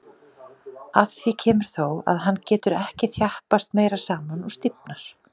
Að því kemur þó, að hann getur ekki þjappast meira saman og stífnar.